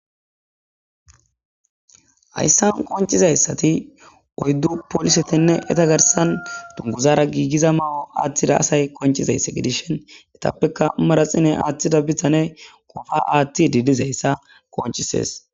hayssan koncizayssati oyddu poolisetinne eta garsan dunguzara giigiza ma7o atthida asay koncizayssa gidishin etappeka maraxine aatthida bihane kofa aatti didizayssa konchises